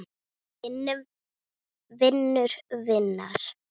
Vinur vinar?